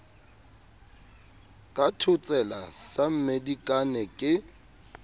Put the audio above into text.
ka thotsela sa mmedikane ke